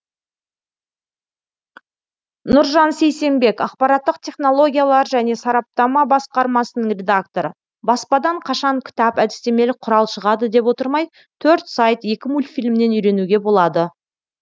нұржан сейсембек ақпараттық технологиялар және сараптама басқармасының редакторы баспадан қашан кітап әдістемелік құрал шығады деп отырмай төрт сайт екі мультфильмнен үйренуге болады